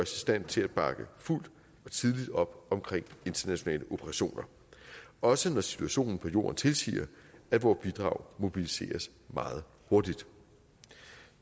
stand til at bakke fuldt og tidligt op bag internationale operationer også når situationen på jorden tilsiger at vores bidrag mobiliseres meget hurtigt